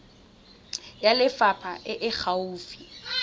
ya lefapha e e gaufi